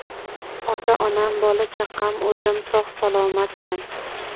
Ota-onam, bola-chaqam, o‘zim sog‘-salomatman.